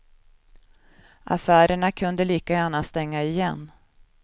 Affärerna kunde lika gärna stänga igen.